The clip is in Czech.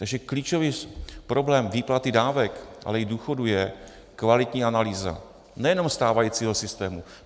Takže klíčový problém výplaty dávek, ale i důchodů je kvalitní analýza nejenom stávajícího systému.